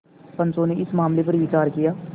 पंचो ने इस मामले पर विचार किया